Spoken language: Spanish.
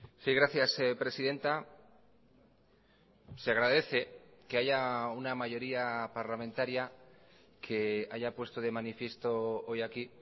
sí gracias presidenta se agradece que haya una mayoría parlamentaria que haya puesto de manifiesto hoy aquí